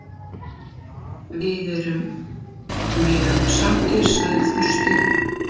Við erum mjög sáttir, sagði Þorsteinn.